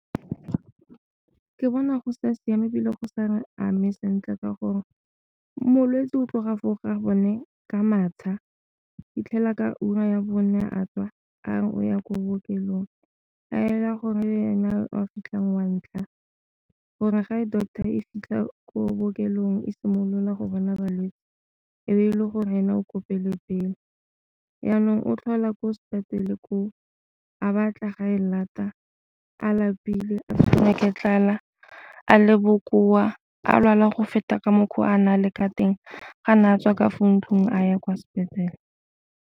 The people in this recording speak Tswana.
Ke bona go sa siama ebile go sa re ame sentle, ka gore molwetse o tloga foo o gabone ka matsha go fitlhela ka ura ya bone a tswa a re o ya ko bookelong a ela gore ene a wa fitlhang wa ntlha gore ga e doctor e fitlha ko bookelong e simolola go bona balwetse e be e le gore ena o ko pele pele. Jaanong o tlhola ko sepetlele ko o a ba tla ga e lata a lapile a tshwerwe tlala a le bokoa a lwalang go feta ka mokgwa a nale ka teng ga ne a tswa ka fo ntlung a ya kwa sepetlele.